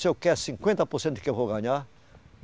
O senhor quer cinquenta por cento do que eu vou ganhar?